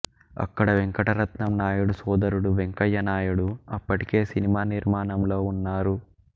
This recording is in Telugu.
అక్కడ వెంకటరత్నం నాయుడు సోదరుడు వెంకయ్య నాయుడు అప్పటికే సినిమా నిర్మాణంలో ఉన్నారు